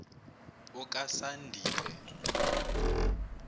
okasandile